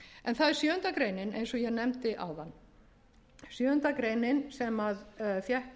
en það er sjöunda grein eins og ég nefndi áðan sjöundu greinar sem fékk